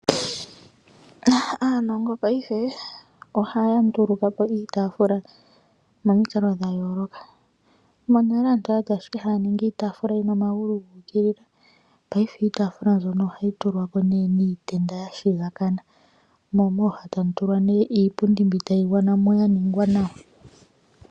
Aanongo paife oha ya ndulukapo iitafula momikalo dha yoloka. Monale aantu oyali ashike haya ningi iitafula yina omagulu gu ukilila. Paife iitafula mbyono oha yi tulwapo ne niitenda yashigakana mo mooha tamu tulwa nee iipundi mbi tayi gwana mo ya ningwa nawa.